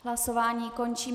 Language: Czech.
Hlasování končím.